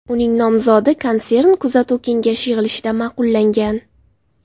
Uning nomzodi konsern kuzatuv kengashi yig‘ilishida ma’qullangan.